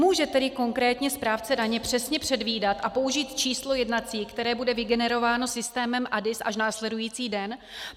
Může tedy konkrétně správce daně přesně předvídat a použít číslo jednací, které bude vygenerováno systémem ADIS až následující den?